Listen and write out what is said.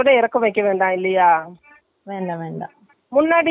adjust பண்ணானோம் அதை விட ஒரு inch இறக்கம் வைக்கலாம்.